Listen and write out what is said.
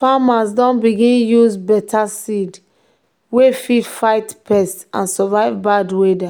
farmers don begin use better seed wey fit fight pests and survive bad weather.